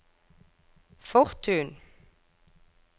Fortun